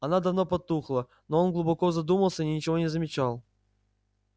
она давно потухла но он глубоко задумался и ничего не замечал